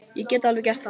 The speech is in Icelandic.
Ég get alveg gert það.